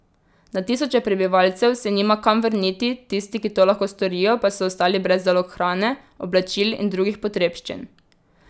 Na tisoče prebivalcev se nima kam vrniti, tisti, ki to lahko storijo pa so ostali brez zalog hrane, oblačil in drugih potrebščin.